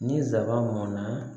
Ni nsaban mɔnna